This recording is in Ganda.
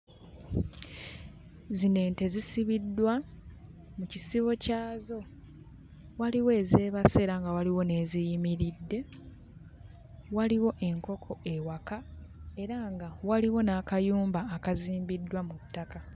Zino ente zisibiddwa mu kisibo kyazo. Waliwo ezeebase era nga waliwo n'eziyimiridde. Waliwo enkoko ewaka era nga waliwo n'akayumba akazimbiddwa mu ttaka.